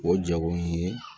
O jago ye